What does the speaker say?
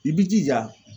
I b'i jija